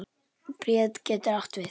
Bríet getur átt við